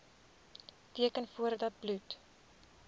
teken voordat bloed